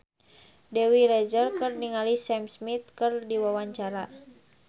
Dewi Rezer olohok ningali Sam Smith keur diwawancara